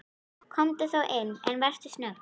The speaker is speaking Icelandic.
Komdu þá inn, en vertu snögg.